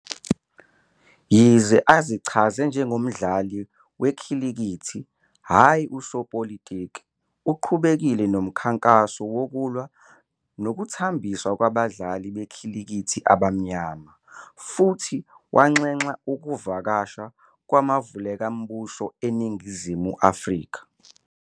Yize azichaze njengomdlali wekhilikithi, hhayi usopolitiki, uqhubekile nomkhankaso wokulwa nokuthambiswa kwabadlali bekhilikithi abamnyama, futhi wanxenxa ukuvakasha kwamavukelambuso eNingizimu Afrika.